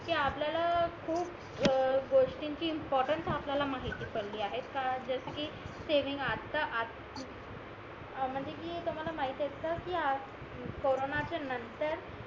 कि आपल्याला खूप गोष्टीं ची इंपोरटन्स आपल्याला माहिती पडली आहेत का जस कि सेविंग आता म्हणजे कि तुम्हाला माहित आहे कि कोरोनाच्या नतंर